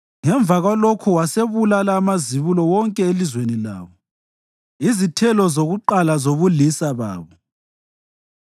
Ngemva kwalokho wasebulala amazibulo wonke elizweni labo, izithelo zokuqala zobulisa babo.